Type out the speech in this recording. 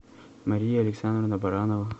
мария александровна баранова